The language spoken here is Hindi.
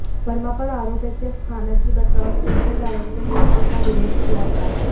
वर्मा पर आरोप है कि अस्थाना की बतौर स्पेशल डायरेक्टर नियुक्ति का विरोध किया था